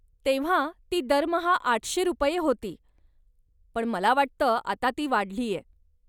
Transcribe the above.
तेव्हा ती दरमहा आठशे रुपये होती, पण मला वाटतं आता ती वाढलीय.